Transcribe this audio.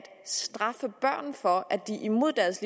straffe børn for at de imod deres